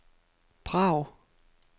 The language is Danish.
Prag